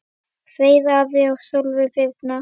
Freyr, Ari og Sólveig Birna.